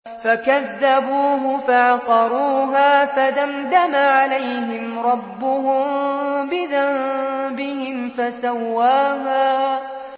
فَكَذَّبُوهُ فَعَقَرُوهَا فَدَمْدَمَ عَلَيْهِمْ رَبُّهُم بِذَنبِهِمْ فَسَوَّاهَا